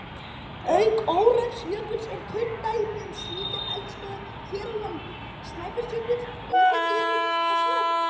Auk Öræfajökuls eru kunn dæmi um slíkar eldstöðvar hér á landi Snæfellsjökull, Eyjafjallajökull og Snæfell.